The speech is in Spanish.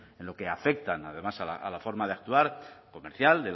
en lo que afecta además a la forma de actuar comercial